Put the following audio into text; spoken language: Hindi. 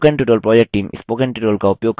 spoken tutorial project team